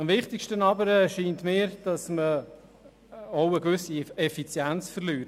Am wichtigsten erscheint es mir jedoch, dass man dabei an Effizienz verliert.